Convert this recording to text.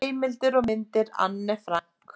Heimildir og mynd Anne Frank.